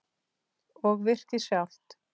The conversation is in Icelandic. Og virkið sjálft?